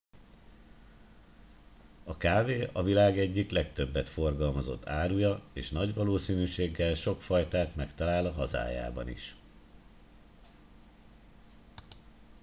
a kávé a világ egyik legtöbbet forgalmazott áruja és nagy valószínűséggel sok fajtát megtalál a hazájában is